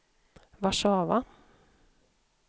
Warszawa